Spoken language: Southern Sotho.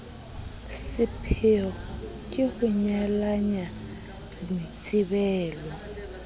sepheyo ke ho nyalanya boitsebelo